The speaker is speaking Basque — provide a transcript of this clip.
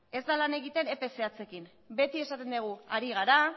ez da lan egiten epe zehatzekin beti esaten dugu ari gara